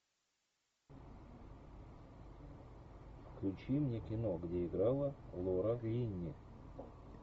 включи мне кино где играла лора линни